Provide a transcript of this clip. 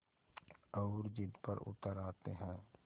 और ज़िद पर उतर आते हैं